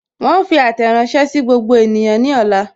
Wọn ó fi àtẹ̀ránsẹ́ sí gbogbo ènìyàn ní ọ̀la